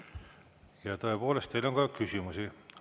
Ja tõepoolest, teile on ka küsimusi.